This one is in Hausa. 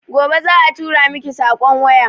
Gobe za a turamiki sakon waya